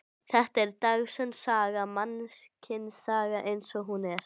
Þetta er dagsönn saga, mannkynssagan eins og hún er.